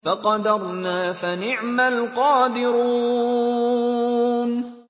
فَقَدَرْنَا فَنِعْمَ الْقَادِرُونَ